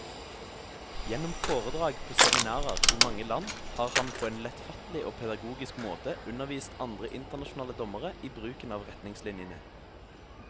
Gjennom foredrag på seminarer i mange land har han på en lettfattelig og pedagogisk måte undervist andre internasjonale dommere i bruken av retningslinjene.